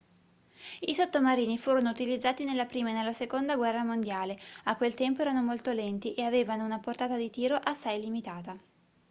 i sottomarini furono utilizzati nella prima e nella seconda guerra mondiale a quel tempo erano molto lenti e avevano una portata di tiro assai limitata